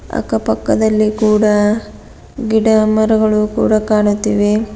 ಅಕ್ಕ ಪಕ್ಕದಲ್ಲಿ ಕೂಡ ಗಿಡ ಮರಗಳು ಕೂಡ ಕಾಣುತ್ತಿವೆ.